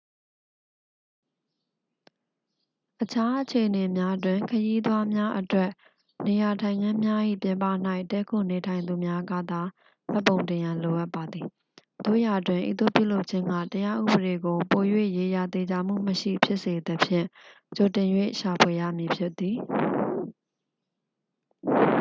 အခြားအခြေအနေများတွင် ခရီးသွားများအတွက်နေရာထိုင်ခင်းများ၏ ပြင်ပ၌ တည်းခိုနေထိုင်သူများကသာ မှတ်ပုံတင်ရန် လိုအပ်ပါသည် သို့ရာတွင် ဤသို့ပြုလုပ်ခြင်းက တရားဥပဒေကို ပို၍ ရေရာသေချာမှုမရှိဖြစ်စေသဖြင့် ကြိုတင်၍ ရှာဖွေရမည်ဖြစ်သည်